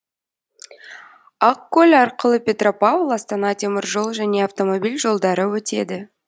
ақкөл арқылы петропавл астана темір жол және автомобиль жолдары өтеді